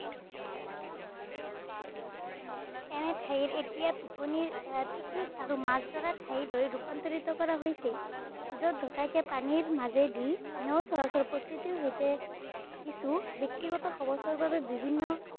এনে ঠাই এতিয়া পিকনিক আৰু মাছ ধৰা ঠাইলৈ ৰূপান্তৰিত কৰা হৈছে। যত কে পানীৰ মাজেদি নৌ চলাচল, প্ৰকৃতিৰ সৈতে কিছু ব্যক্তিগত বাবে বিভিন্ন